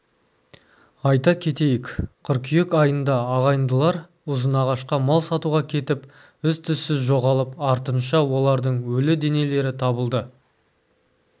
айта кетейік қыркүйек айында ағайындылар ұзынағашқа мал сатуға кетіп із-түзсіз жоғалып артынша олардың өлі денелері табылды